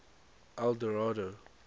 eldorado